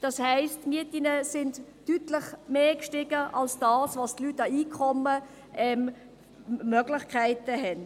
Das heisst, die Mieten sind deutlich mehr gestiegen als die Einkommen der Leute.